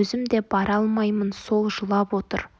өзім де бара алмаймын сол жылап отыр